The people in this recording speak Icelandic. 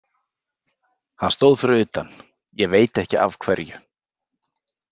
Hann stóð fyrir utan, ég veit ekki af hverju.